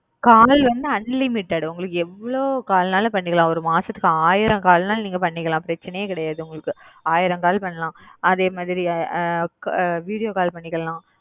call unlimited வந்து நீங்க எவ்ளோ call வேணாலும் பண்ணிகாலம் ஒரு நாளைக்கி ஆயிரம் call வேணாலும் பண்ணிக்கலாம் அதேமாரி video call பண்ணிக்கலாம்